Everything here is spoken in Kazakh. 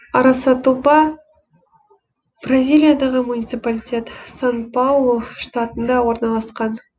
арасатуба бразилиядағы муниципалитет сан паулу штатында орналасқан